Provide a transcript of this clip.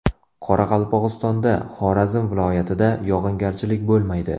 Qoraqalpog‘istonda, Xorazm viloyatida yog‘ingarchilik bo‘lmaydi.